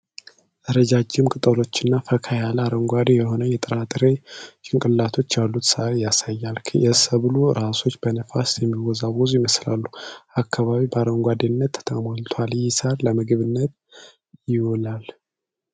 ረዣዥም ቅጠሎችና ፈካ ያለ አረንጓዴ የሆኑ የጥራጥሬ ጭንቅላቶች ያሉት ሣር ያሳያል። የሰብሉ ራሶች በነፋስ የሚወዛወዙ ይመስላል። አካባቢው በአረንጓዴነት ተሞልቷል። ይህ ሣር ለምግብነት ይውላል?